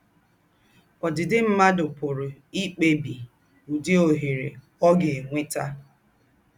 Ọ́dị́dị̀ mmádụ̀ pụ̀rà íkpèbí ứdị̀ ọ̀hérẹ̀ ọ́ gà-ènwètà.